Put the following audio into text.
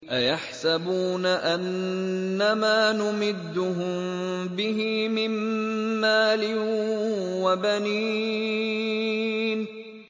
أَيَحْسَبُونَ أَنَّمَا نُمِدُّهُم بِهِ مِن مَّالٍ وَبَنِينَ